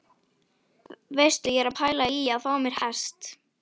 Veistu, ég er að pæla í að fá mér hest!